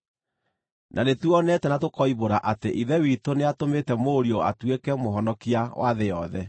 Na nĩtuonete na tũkoimbũra atĩ Ithe witũ nĩatũmĩte Mũriũ atuĩke Mũhonokia wa thĩ yothe.